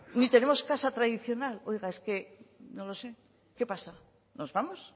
ni tenemos casa tradicional oiga es que no lo sé qué pasa nos vamos